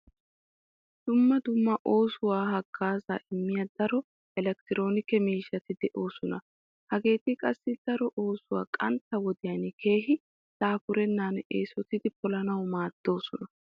Dumma dumma oosuwassi haggaazaa immiya daro elekkitiroonike miishshati de'oosona. Hegeeti qassi daro oosuwa qantta wodiyan keehi daafurennan eesotidi polanawu maaddoosona.